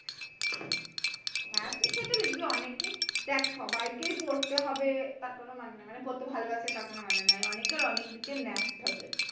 হ্যাঁ, তো সেইটা লিখবে অনেকেই দেখ সবাই কেই পড়তে হবে তার কোন মানে নেই মানে পড়তে ভালবাসে তার কোন মানে নেই অনেকের অনেক দিকে ন্যাক থাকে।